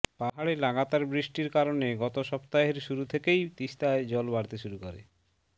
পাহাড়ে লাগাতার বৃষ্টির কারণে গত সপ্তাহের শুরু থেকেই তিস্তায় জল বাড়তে শুরু করে